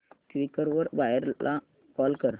Quikr वर buyer ला call कर